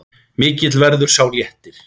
Mikill verður sá léttir.